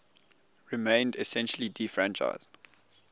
remained essentially disfranchised